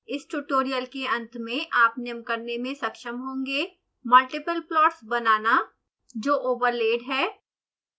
इस ट्यूटोरियल के अंत में आप निम्न करने में सक्षम होंगे